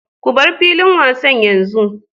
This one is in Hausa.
Ku bar filin wasa yanzu!